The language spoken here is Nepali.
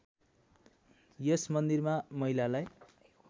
यस मन्दिरमा महिलालाई